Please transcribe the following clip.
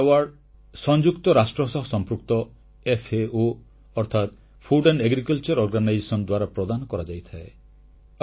ଏହି ପୁରସ୍କାର ସଂଯୁକ୍ତ ରାଷ୍ଟ୍ର ସହ ସମ୍ପୃକ୍ତ ଖାଦ୍ୟ ଓ କୃଷି ସଂଗଠନ ଅର୍ଥାତ୍ ଫୁଡ୍ ଆଣ୍ଡ୍ ଏଗ୍ରିକଲଚର ଅର୍ଗାନାଇଜେସନ ଦ୍ୱାରା ପ୍ରଦାନ କରାଯାଇଥାଏ